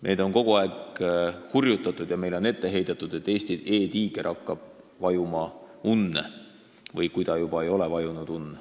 Meid on kogu aeg hurjutatud ja meile on ette heidetud, et Eesti e-tiiger hakkab unne vajuma, kui ta juba ei ole seda teinud.